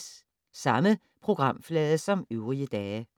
Samme programflade som øvrige dage